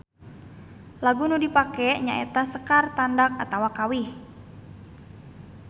Lagu nu dipake nya eta sekar tandak atawa kawih.